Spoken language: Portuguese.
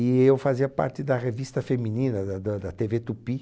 E eu fazia parte da revista feminina da da da Tevê Tupi.